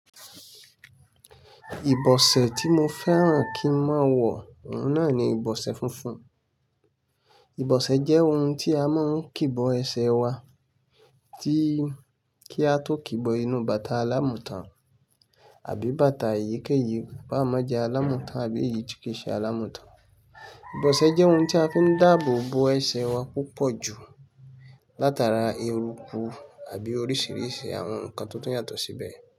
Ìbọ̀sẹ̀ tí mo fẹ́ràn kí n máa wọ náà ni ìbọ̀sẹ̀ funfun. Ìbọ̀sẹ̀ jẹ́ ohun tí a máa ń kìbọ ẹsẹ̀ wa tí kí a tó kìbọ inú bàtà alámùtán àbí bàtà ìyékèèyí bá mọ́ jẹ́ alámùtán àbí ìjókèṣẹ̀ alámùtán. Ìbọ̀sẹ̀ jẹ́ ohun tí a fi ń dáàbò bo ẹsẹ̀ wa púpọ̀ jù látara eruku àbí oríṣìíríṣìí àwọn nǹkan tó tó yàtọ̀ síbẹ̀.